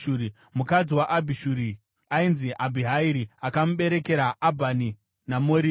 Mukadzi waAbhishuri ainzi Abhihairi akamuberekera Abhani naMoridhi.